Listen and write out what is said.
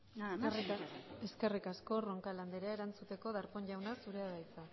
nada más y muchas gracias eskerrik asko roncal andrea erantzuteko darpón jauna zurea da hitza